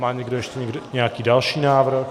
Má někdo ještě nějaký další návrh?